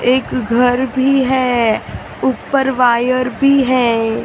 एक घर भी है ऊपर वायर भी है ।